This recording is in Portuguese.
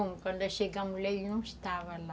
Quando nós chegamos lá, ele não estava lá.